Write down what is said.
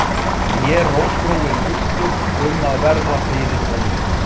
Í mér rótgróinn uggur um að verða fyrir vonbrigðum